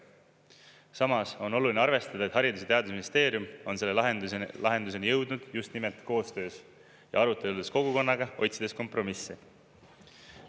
Samas on oluline arvestada, et Haridus- ja Teadusministeerium on selle lahenduseni jõudnud just nimelt koostöös ja aruteludes kogukonnaga, otsides kompromisse.